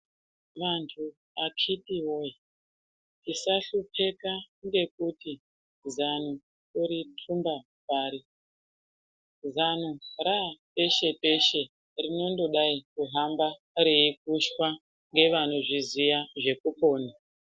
Vantu akiti woye tisahlupika ngekuti zano tori tumba pari zano raa peshe peshe rinondodai kuhamba rwikushwa ngevanozviziya zvekupona.